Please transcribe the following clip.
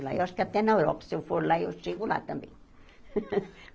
Lá eu acho que até na Europa, se eu for lá, eu chego lá também.